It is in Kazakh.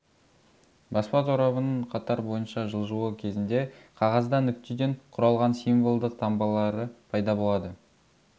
баспа торабының қатар бойынша жылжуы кезінде қағазда нүктеден құралған символдық таңбалары пайда болады